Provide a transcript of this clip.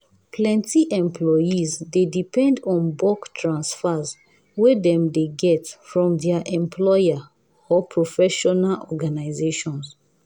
plenty employees dey depend on bulk transfers wey dem dey get from their employers or professional organizations.